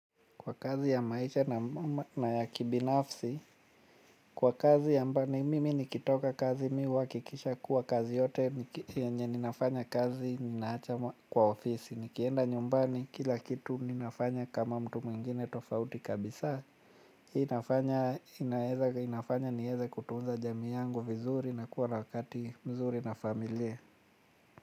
Kwa kazi ya maisha na ya kibinafsi kwa kazi amba mimi nikitoka kazi mimi huhakikisha kuwa kazi yote yenye ninafanya kazi ninaacha kwa ofisi. Nikienda nyumbani kila kitu mimi nafanya kama mtu mwingine tofauti kabisa. Inafanya nieze kutunza jamii yangu vizuri na kuwa na wakati mzuri na familia.